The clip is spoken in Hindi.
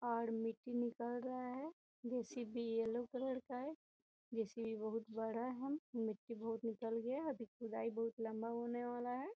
और मिट्टी निकल रहा है जे.सी.बी. येल्लो कलर का है जे.सी.बी. बहुत बड़ा है मिट्टी बहुत निकल गया अभी खुदाई बहुत लम्बा होने वाला है।